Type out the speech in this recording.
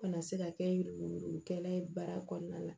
Kana se ka kɛ yurugu yurugu kɛla ye baara kɔnɔna la